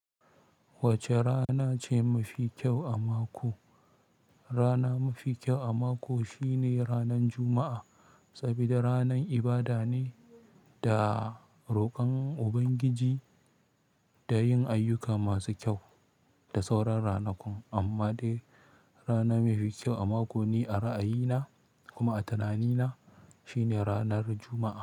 Wacce rana ce mafi kyau a mako? Rana mafi kyau a mako shine ranan Juma'a, saboda ranan ibada ne da roƙon Ubangiji da yin ayyuka masu kyau da sauran ranakun. Amma dai rana mafi kyau a mako ne a ra'ayina kuma a tunanina shine ranar Juma'a.